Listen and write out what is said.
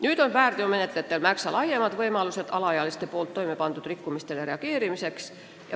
Nüüd on väärteomenetlejatel märksa laiemad võimalused alaealiste toimepandud rikkumistele reageerida.